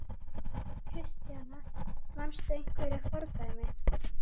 Kristjana: Manstu einhver fordæmi?